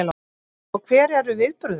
Og hver eru viðbrögðin?